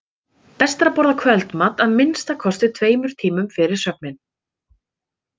Best er að borða kvöldmat að minnsta kosti tveimur tímum fyrir svefninn.